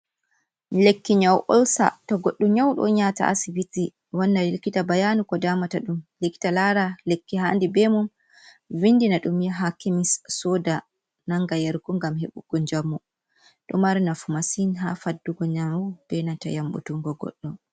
Lekki nyau olsa, to goɗɗo nyauɗo on nyata asibiti wanna lilkita bayanu ko damata ɗum, likita lara lekki handi be mum vindina ɗum yaha kemis soda nanga yargu ngam heɓugo njamu ɗo mari nafu massin ha faddugo nyau be nanta yamɓutungo goɗɗo.